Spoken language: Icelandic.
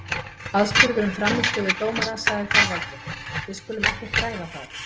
Aðspurður um frammistöðu dómarans sagði Þorvaldur: Við skulum ekkert ræða það.